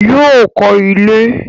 Yóò kọ́ ilé